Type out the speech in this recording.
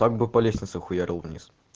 так бы по лестнице хуярил вниз